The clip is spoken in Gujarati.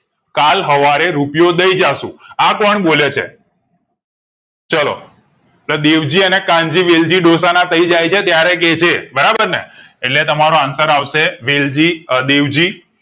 કલ હવારે રૂપિયુઓ દય જશું આ કોણ બોલે છે ચાલો પ્રદેવજી અને કાન્જીવેલજી ડોસો ના થયે જાય ને ત્યારે કે છે બરાબર ને એટલે તમારો answer આવશે વેલજી દેવજી